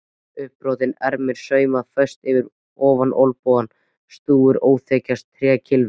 uppbrotin ermin saumuð föst fyrir ofan olnbogann, stúfurinn áþekkastur trékylfu.